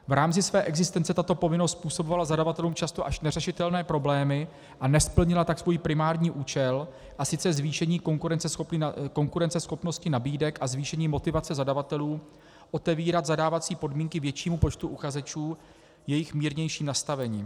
V rámci své existence tato povinnost způsobovala zadavatelům často až neřešitelné problémy a nesplnila tak svůj primární účel, a sice zvýšení konkurenceschopnosti nabídek a zvýšení motivace zadavatelů otevírat zadávací podmínky většímu počtu uchazečů jejich mírnějším nastavením.